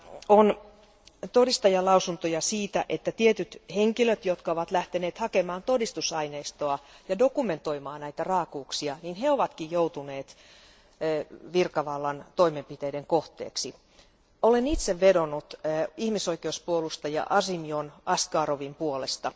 On todistajanlausuntoja siitä, että tietyt henkilöt, jotka ovat lähteneet hakemaan todistusaineistoa ja dokumentoimaan näitä raakuuksia, ovatkin itse joutuneet virkavallan toimenpiteiden kohteeksi. Olen itse vedonnut ihmisoikeuspuolustaja Azimzham Askarovin puolesta.